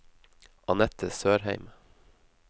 Annette Sørheim